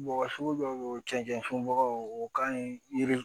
Bɔgɔ sugu dɔw be yen o cɛncɛn sɔnbagaw o ka ɲi yiri